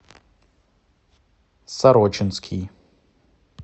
сорочинский